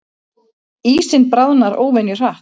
Ísinn bráðnar óvenju hratt